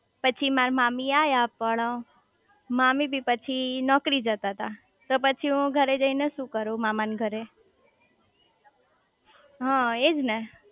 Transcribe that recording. પછી મારા મામી આયા પણ મામી બી પછી નોકરી જતા તા તો પછી હું ઘરે જઇને શુ કરું મામા ના ઘરે હ એજ ને